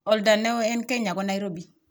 oldo ne oo eng Kenya Nairobi